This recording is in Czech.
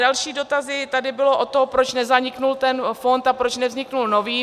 Další dotazy tady byly o tom, proč nezaniknul ten fond a proč nevznikl nový.